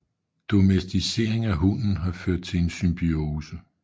Domesticering af hunden har ført til en symbiose